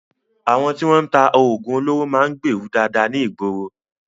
Àwọn tí wọ́n ń ta oògùn olóró máa ń gbèèrú dáadáa ní ìgboro.